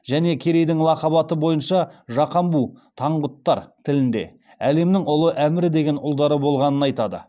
және керейдің лақап аты бойынша жақамбу таңғұттар тілінде әлемнің ұлы әмірі деген ұлдары болғанын айтады